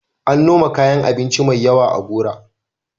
An noma kayan abinci mai yawa a Gora.